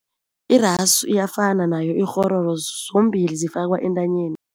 Irasu iyafana nayo-ikghororo zombili zifakwa entanyeni.